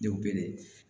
Denw bɛ